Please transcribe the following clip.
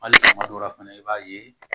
Hali kuma dɔw la fɛnɛ i b'a ye